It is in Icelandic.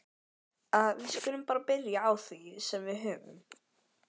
Við skulum bara byrja á því sem við höfum.